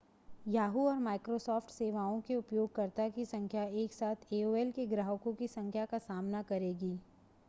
yahoo! और microsoft सेवाओं के उपयोगकर्ताओं की संख्या एकसाथ aol के ग्राहकों की संख्या का सामना करेगी